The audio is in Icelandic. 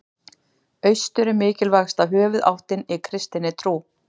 Austur er mikilvægasta höfuðáttin í kristinni trú.